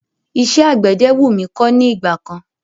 Iṣẹ́ àgbẹ̀dẹ wú mí kọ́ ní ìgbà kan.